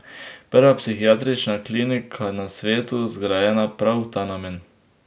Prva psihiatrična klinika na svetu, zgrajena prav v ta namen.